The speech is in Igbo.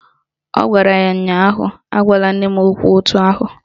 Ọ gwara ya ụnyaahụ " Agwala nne m okwu etu ahụ"!